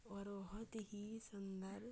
और बहुत ही सुन्दर।